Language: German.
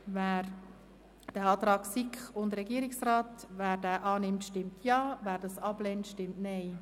Wer den Antrag von SiK und Regierungsrat annimmt, stimmt Ja, wer das ablehnt, stimmt Nein.